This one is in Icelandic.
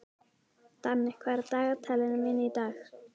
Danni, hvað er á dagatalinu mínu í dag?